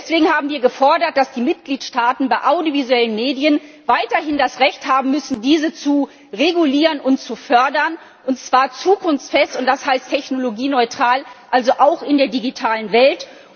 Deswegen haben wir gefordert, dass die Mitgliedstaaten bei audiovisuellen Medien weiterhin das Recht haben müssen, diese zu regulieren und zu fördern, und zwar zukunftsfest, und das heißt technologieneutral, also auch in der digitalen Welt.